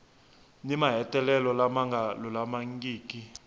ni mahetelelo lama nga lulamangiki